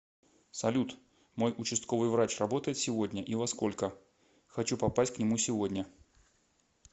салют мой участковый врач работает сегодня и во сколько хочу попасть к нему сегодня